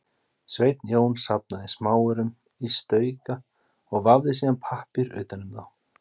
Sveinn Jón safnaði smáaurum í stauka og vafði síðan pappír utan um þá.